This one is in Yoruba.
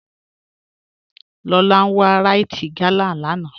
Lọlá n wà Ríte gálà láńà